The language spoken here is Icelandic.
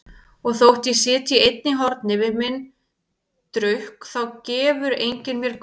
Og þótt ég sitji einn í horni við minn drukk þá gefur enginn mér gaum.